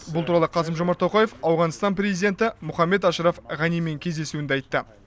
бұл туралы қасым жомарт тоқаев ауғанстан президенті мұхаммед ашраф ғанимен кездесуінде айтты